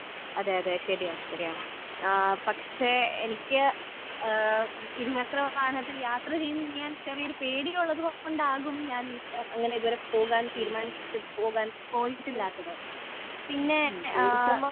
അതേ അതേ ശരിയാണ് ശരിയാണ് ആ പക്ഷേ എനിക്ക് ഇരുചക്ര വാഹനത്തിൽ യാത്ര ചെയ്യാൻ ചെറിയൊരു പേടി ഉള്ളതുകൊണ്ടാകും ഞാൻ അങ്ങനെ പോകാൻ തീരുമാനിച്ചിട്ടില്ലാത്തത് പോയിട്ടില്ലാത്തത് പിന്നേ